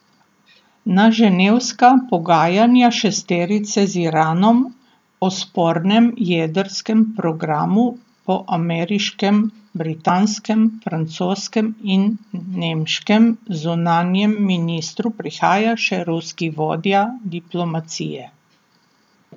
Na ženevska pogajanja šesterice z Iranom o spornem jedrskem programu po ameriškem, britanskem, francoskem in nemškem zunanjem ministru prihaja še ruski vodja diplomacije.